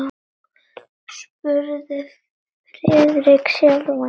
spurði Friðrik sjálfan sig.